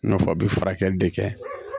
I n'a fɔ u bɛ furakɛli de kɛ